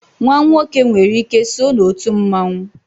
nwa nwoke nwere ike so na otu mmanwu